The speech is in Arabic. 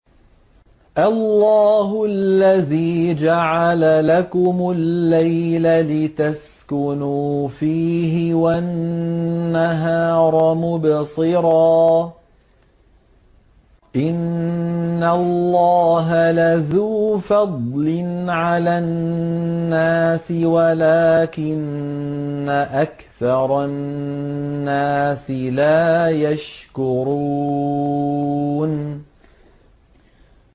اللَّهُ الَّذِي جَعَلَ لَكُمُ اللَّيْلَ لِتَسْكُنُوا فِيهِ وَالنَّهَارَ مُبْصِرًا ۚ إِنَّ اللَّهَ لَذُو فَضْلٍ عَلَى النَّاسِ وَلَٰكِنَّ أَكْثَرَ النَّاسِ لَا يَشْكُرُونَ